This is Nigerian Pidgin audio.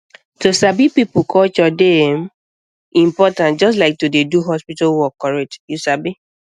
to sabi people culture dey um important just like to dey do hospital work correct you sabi